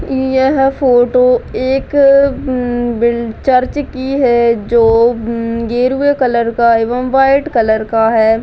यह फोटो एक उम बिल चर्च की है जो उम गेरुए कलर का एवं वाईट कलर का है।